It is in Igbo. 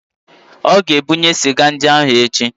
Ọ ga-ebunye sịga ndị ahụ echi